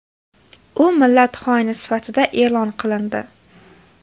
U millat xoini sifatida e’lon qilindi.